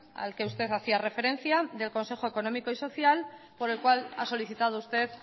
al que usted hacía referencia del consejo económico y social por el cual ha solicitado usted